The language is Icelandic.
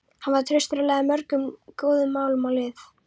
Hann var traustur og lagði mörgum góðum málum lið.